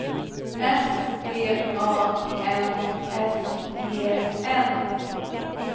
S V A N S E N